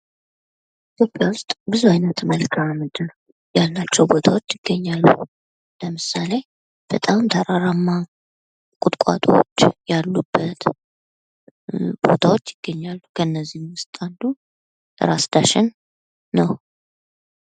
ኢትዮጵያ ውስጥ ብዙ አይነት መልካምድር ያላቸው ቦታዎች ይገኛሉ። ለምሳሌ በጣም ተራራማ ቁጥቋጦዎች ያሉበት ቦታዎች ይገኛል። ከነዚህ ውስጥ አንዱ ራስ ዳሸን ነው።